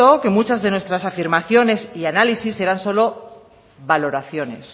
que muchas de nuestras afirmaciones y análisis eran solo valoraciones